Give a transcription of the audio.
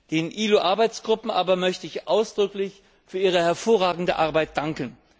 Den ILO Arbeitsgruppen aber möchte ich ausdrücklich für ihre hervorragende Arbeit danken.